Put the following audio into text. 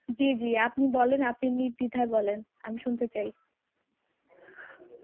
জী জী আপনি বলেন, আপনি নির্দ্বিধায় বলেন আমি শুনতে চাই.